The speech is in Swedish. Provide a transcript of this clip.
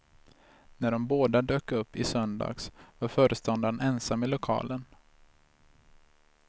När de båda dök upp i söndags var föreståndaren ensam i lokalen.